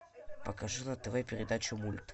покажи на тв передачу мульт